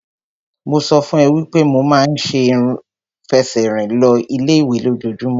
Mo sọ fún ẹ wípé mo ma ń fẹsẹ̀ rìn lọ ilé ìwé lójojúmọ́.